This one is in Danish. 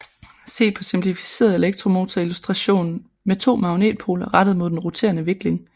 Se på simplificeret elektromotor illustration med to magnetpoler rettet mod den roterende vikling